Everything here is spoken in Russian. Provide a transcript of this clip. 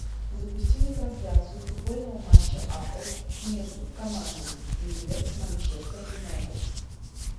запусти мне трансляцию футбольного матча апл между командами ливер манчестер юнайтед